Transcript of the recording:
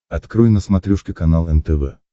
открой на смотрешке канал нтв